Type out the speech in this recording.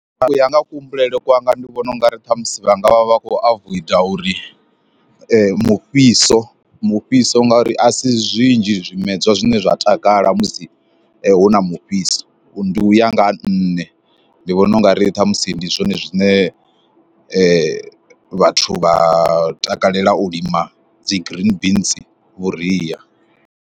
U ya nga kuhumbulele kwanga ndi vhona ungari ṱhamusi vhanga vha vha khou avoida uri mufhiso, mufhiso ngauri a si zwinzhi zwimedzwa zwine zwa takala musi hu na mufhifhiso ndi uya nga ha nṋe ndi vhona ungari ṱhamusi ndi zwone zwine vhathu vha takalela u lima dzi green beans vhuria.